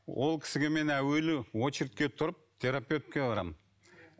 ол кісіге мен әуелі очередьке тұрып терапевтке барамын